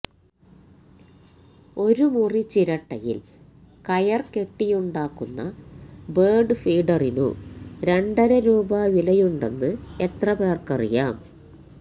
ഒരു മുറി ചിരട്ടയിൽ കയർ കെട്ടിയുണ്ടാക്കുന്ന ബേർഡ് ഫീഡറിനു രണ്ടര രൂപ വിലയുണ്ടെന്ന് എത്ര പേർക്കറിയാം